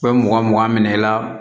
U bɛ mugan mugan minɛ i la